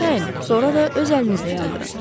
Sayın, sonra da öz əlinizlə yandırın.